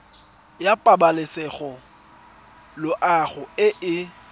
ya pabalesego loago e e